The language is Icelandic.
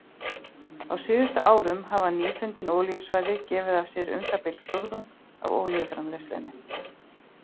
Á síðustu árum hafa nýfundin olíusvæði gefið af sér um það bil fjórðung af olíuframleiðslunni.